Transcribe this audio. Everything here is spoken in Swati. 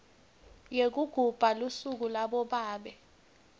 yekugubha lusuku labobabe